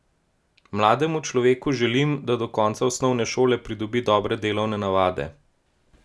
Mlademu človeku želim, da do konca osnovne šole pridobi dobre delovne navade.